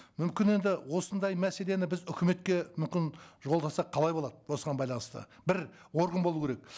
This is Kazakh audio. мүмкін енді осындай мәселені біз үкіметке мүмкін жолдасақ қалай болады осыған байланысты бір орган болу керек